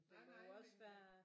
Der må jo også være